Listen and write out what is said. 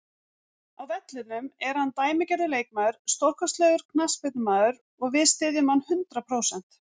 Á vellinum er hann dæmigerður leikmaður, stórkostlegur knattspyrnumaður og við styðjum hann hundrað prósent.